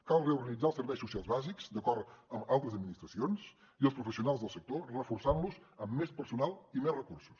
cal reorganitzar els serveis socials bàsics d’acord amb altres administracions i els professionals del sector reforçant los amb més personal i més recursos